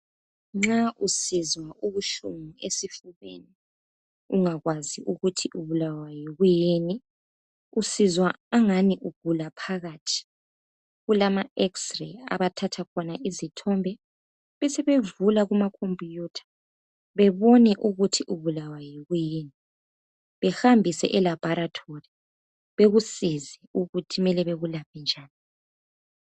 Nxa usizwa ubuhlungu esifubeni ungakwazi ukuthi ubulawa yikuyini usizwa angani ugula phakathi kulama x_ray abathatha khona izithombe besebevula phakathi kumakhompiyutha bebone ukuthi ubulawa yikuyii behambise elabhorithori bekusize ukuthi kumele bakwelaphe njani.